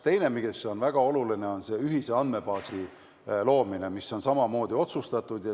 Teiseks on väga oluline ühise andmebaasi loomine, mis on samamoodi otsustatud.